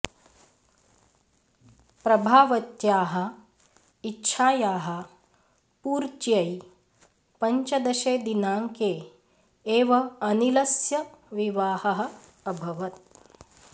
प्रभावत्याः इच्छायाः पूर्त्यै पञ्चदशे दिनाङ्के एव अनिलस्य विवाहः अभवत्